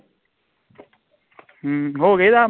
ਹਮ ਹੋ ਗਏ ਦਸ